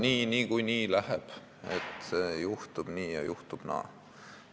Ütlete, et küllap läheb niikuinii nii, juhtub nii ja juhtub naa.